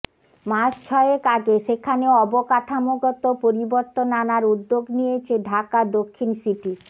মাস ছয়েক আগে সেখানে অবকাঠামোগত পরিবর্তন আনার উদ্যোগ নিয়েছে ঢাকা দক্ষিণ সিটি